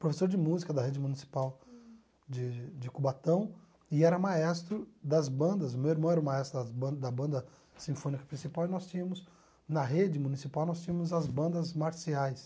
professor de música da rede municipal de de Cubatão, e era maestro das bandas, meu irmão era o maestro das ban da banda sinfônica principal, e nós tínhamos, na rede municipal, nós tínhamos as bandas marciais.